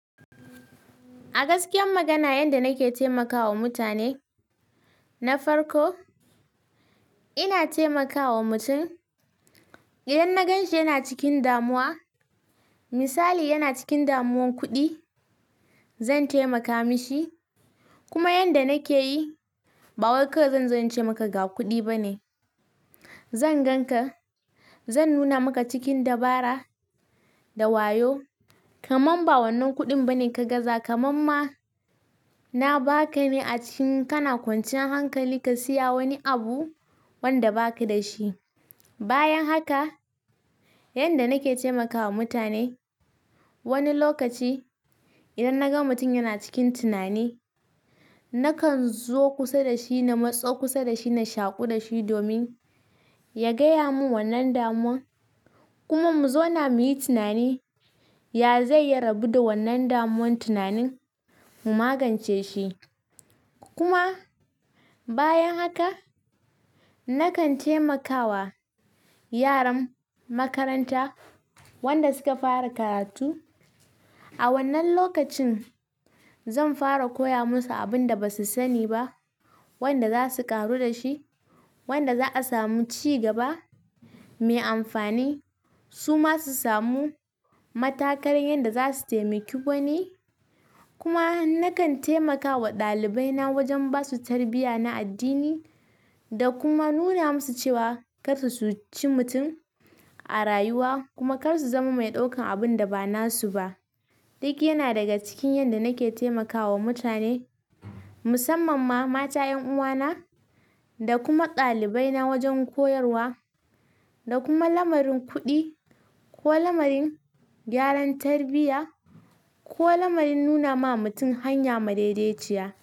A gaskiya magana, yanda nake taimakawa mutane na farko, ina taimakawa mutum idan na ganshi yana cikin damuwa. Misali yana cikin damuwan kuɗi, zan taimaka mashi. Kuma yanda nake yi, ba wai ka wai zanzo ince maka ga kuɗi ba ne. Zan ganka, zan nuna maka cikin dabara da wayo, kaman ba wannan kuɗin ba ne ka gaza. Kaman ma na baka ne a cikin kana kwanciyan hankali ka siya wani abu wanda baka da shi. Bayan haka, yanda nake taimakawa mutane, wani lokaci idan na ga mutum yana cikin tunani, nakan zo kusa da shi, na matso kusa da shi na shaƙu da shi domin ya gaya mun wannan damuwan. Kuma mu zauna muyi tunani, ya zai ya rabu da wannan damuwan tunanin mu magance shi. Kuma bayan haka, nakan taimakawa yaran makaranta wanda suka fara karatu. A wannan lokacin zan fara koya musu abun da basu sani ba, wanda za su ƙaru da shi, wanda za'a samu cigaba mai amfani. Su ma su samu matakarin yanda za su taimaki wani. Kuma nakan taimakawa ɗalibai na wajen basu tarbiyya na addini da kuma nuna musu cewa karsu su cuci mutum a rayuwa kuma kar su zama mai ɗaukan abun da ba nasu ba. Duk yana daga cikin yanda nake taimakawa mutane, musamman ma mata 'yan uwana da kuma ɗalibai na wajen koyarwa da kuma lamarin kuɗi ko lamarin gyaran tarbiyya ko lamarin nuna ma mutum hanya madaidaiciya.